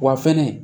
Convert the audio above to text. Wa fɛnɛ